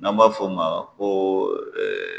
N'an b'a fo' ma ko ɛɛ